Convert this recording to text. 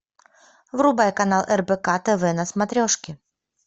врубай канал рбк тв на смотрешке